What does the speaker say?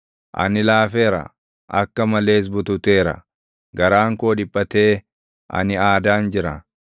Ani laafeera; akka malees bututeera; garaan koo dhiphatee ani aadaan jira.